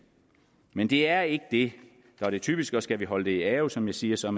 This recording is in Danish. men det er ikke det er det typiske og skal vi holde det i ave som jeg siger så